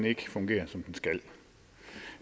ikke fungerer som den skal